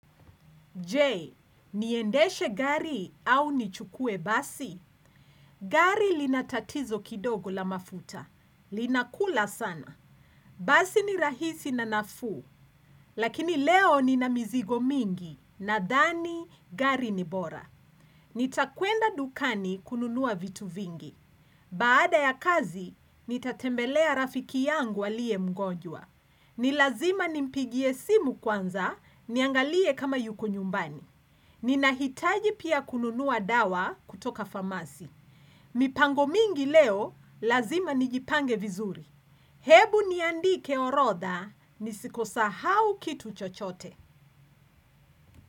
Je Niendeshe gari au nichukue basi? Gari linatatizo kidogo la mafuta. Linakula sana. Basi ni rahisi na naafu. Lakini leo nina mizigo mingi. Nadhani, gari ni bora. Nitakwenda dukani kununuwa vitu vingi. Baada ya kazi, nitatembelea rafiki yangu alie mgonjwa. Nilazima nimpigie simu kwanza, niangalie kama yuko nyumbani. Ninahitaji pia kununua dawa kutoka famasi. Mipango mingi leo, lazima nijipange vizuri. Hebu niandike orodha, nisikosahau kitu chochote.